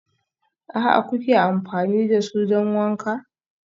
aA kuke amfani da su don wanka?